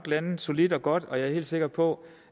lande solidt og godt og jeg er helt sikker på